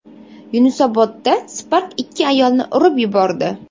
Yunusobodda Spark ikki ayolni urib yubordi.